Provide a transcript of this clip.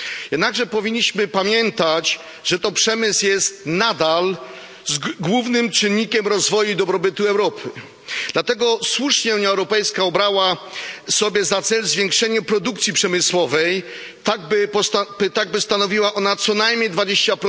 Jednakże powinniśmy pamiętać, że to przemysł jest nadal głównym czynnikiem rozwoju i dobrobytu Europy. Dlatego słusznie Unia Europejska obrała sobie za cel zwiększenie produkcji przemysłowej, tak by stanowiła ona co najmniej 20